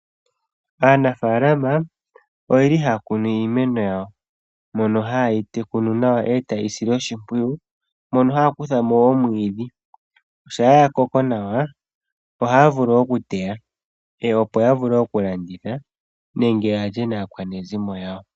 Aanafalama oyeli haya kunu iimeno yawo mono ha yeyi tekula eta yeyi sile oshimpwiyu mono haya kutha mo omwiidhi shapa ya koko nawa ohaya vulu oku teya opo ya vule oku landitha nenge ya lyenakwanezimo yawo.